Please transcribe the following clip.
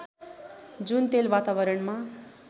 जुन तेल वातावरणमा